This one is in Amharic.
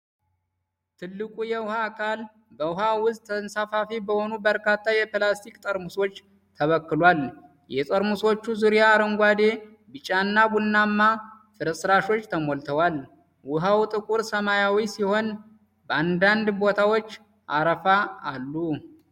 ትልቁ የውሃ አካል በውሃ ውስጥ ተንሳፋፊ በሆኑ በርካታ የፕላስቲክ ጠርሙሶች ተበክሏል። የጠርሙሶቹ ዙሪያ አረንጓዴ፣ ቢጫና ቡናማ ፍርስራሾች ተሞልተዋል። ውሃው ጥቁር ሰማያዊ ሲሆን፣ በአንዳንድ ቦታዎች አረፋ አሉ።